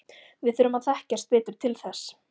Við þurfum að þekkjast betur til þess.